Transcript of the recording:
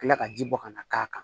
Kila ka ji bɔ ka na k'a kan